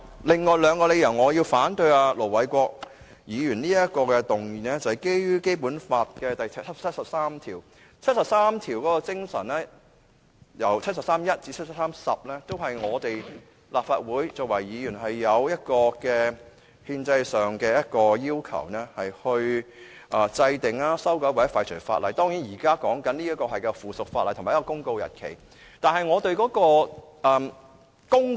另外我反對盧偉國議員這項議案的理由是，基於《基本法》第七十三條第一至十項的精神，都與我們作為立法會議員制定、修改和廢除法律的憲制責任有關，而現在討論的，正是一項附屬法例的生效日期公告。